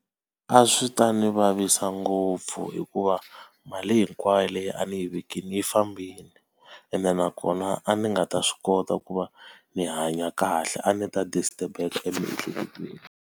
A swi ta ndzi vavisa ngopfu hikuva mali hinkwayo leyi a ni yi vekile yi fambile. Ene nakona a ni nga ta swi kota ku va ni hanya kahle a ni ta disturb-eka emiehleketweni.